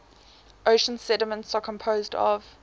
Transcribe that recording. ocean sediments are composed of